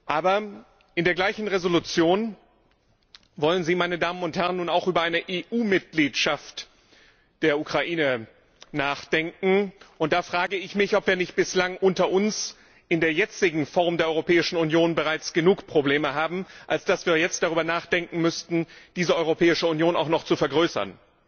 Aber in der gleichen Entschließung wollen Sie, meine Damen und Herren, nun auch über eine EU Mitgliedschaft der Ukraine nachdenken. Da frage ich mich, ob wir nicht bislang unter uns in der jetzigen Form der Europäischen Union bereits genug Probleme haben, als dass wir jetzt darüber nachdenken müssten, diese Europäische Union auch noch zu vergrößern.